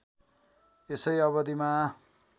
यसै अवधिमा